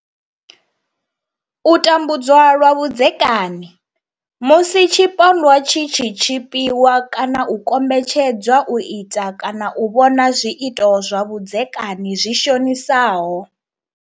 U tambudzwa lwa vhudzekani musi tshipondwa tshi tshi tshipiwa kana u kombetshed zwa u ita kana u vhona zwiito zwa vhudzekani zwi shonisaho.